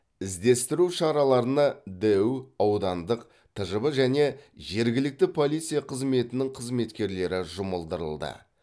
іздестіру шараларына дэу аудандық тжб және жергілікті полиция қызметінің қызметкерлері жұмылдырылды